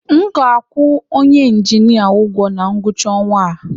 M ga-akwụ onye injinia ụgwọ na ngwụcha ọnwa a